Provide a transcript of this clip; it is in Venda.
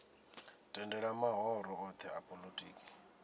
tendela mahoro othe a polotiki